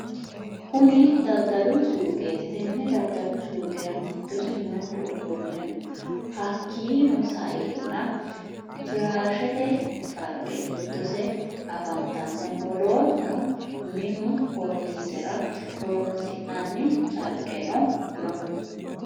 Kunni daddalu suuqeti tenne daddalu suuqerra giddose Manchu ofolle no hakiino sa'eena firàashete cariqe giddose afantanno wolootuno minu korinizera horonisinanni cariqeno no.